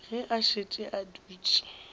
ge a šetše a dutše